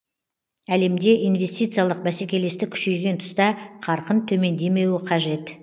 әлемде инвестициялық бәсекелестік күшейген тұста қарқын төмендемеуі қажет